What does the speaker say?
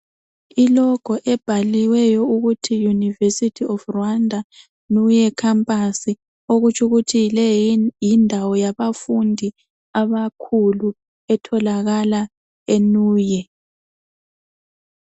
I"logo" ebhaliweyo ukuthi University of Rwanda Nuye Campus okutsho ukuthi le yindawo yabafundi abakhulu etholakala eNuye.